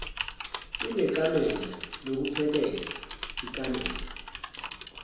inekamela lokuphekela ikamela